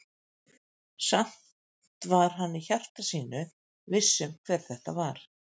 Samt var hann í hjarta sínu viss um hver þetta var.